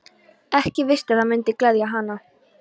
Ekki víst að það mundi gleðja hann.